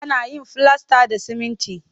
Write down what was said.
Ana yin filasta da siminti